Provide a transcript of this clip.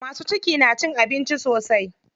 Masu ciki na cin abinci sosai.